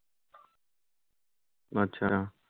আচ্ছা